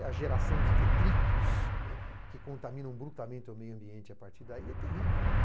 E a geração de detritos que contaminam brutamente o meio ambiente a partir daí é terrível.